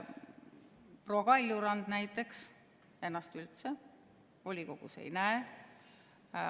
Proua Kaljurand näiteks ennast üldse volikogus ei näe.